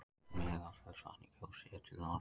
Meðalfellsvatn í Kjós, séð til norðurs.